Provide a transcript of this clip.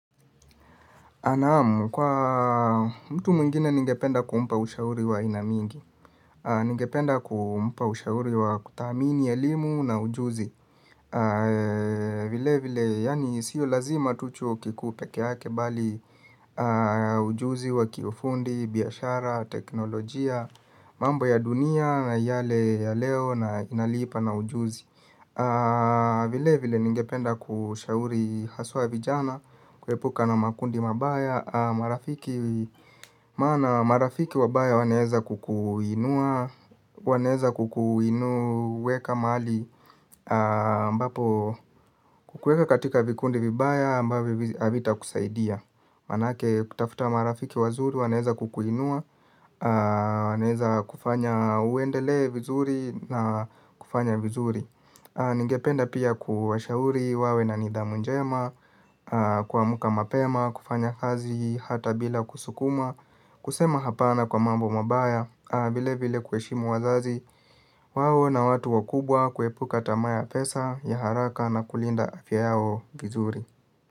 Naam, kwa mtu mwingine ningependa kumpa ushauri wa aina mingi, ningependa kumpa ushauri wa kuthamini ya elimu na ujuzi. Vile vile, yaani sio lazima tu chuo kikuu pekeyake bali ujuzi wa kiufundi, biashara, teknolojia, mambo ya dunia na yale ya leo na inalipa na ujuzi. Vile vile ningependa kushauri haswa vijana kuepuka na makundi mabaya. Marafiki wabaya wanaweza kukuinua wanaweza kukuweka mahali ambapo kukuweka katika vikundi vibaya ambavyo havita kusaidia manake kutafuta marafiki wazuri wanaweza kukuinua wanaweza kufanya uendelee vizuri na kufanya vizuri ningependa pia kuwashauri wawe na nidhamu njema. Kuamka mapema, kufanya kazi, hata bila kusukumwa kusema hapana kwa mambo mabaya vile vile kuheshimu wazazi. Wawe na watu wakubwa kuepuka tamaa ya pesa ya haraka na kulinda afya yao vizuri.